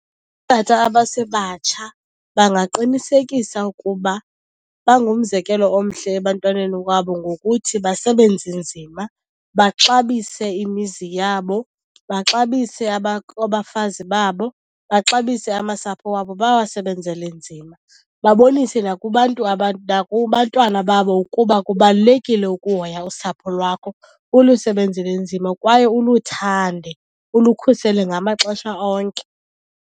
Tata abasebatsha bangaqinisekisa ukuba bangumzekelo omhle ebantwaneni wabo ngokuthi basebenze nzima, baxabise imizi yabo, baxabise abafazi babo, baxabise amasapho wabo bawasebenzele nzima. Babonise nakubantu , nakubantwana babo ukuba kubalulekile ukuhoya usapho lwakho, ulusebenzele nzima kwaye uluthande, ulukhusele ngamaxesha onke.